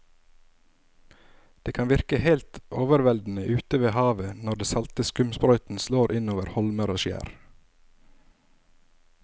Det kan virke helt overveldende ute ved havet når den salte skumsprøyten slår innover holmer og skjær.